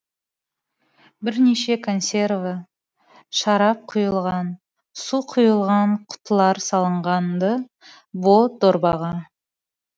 бірнеше консерві шарап құйылған су құйылған құтылар салынған ды бұ дорбаға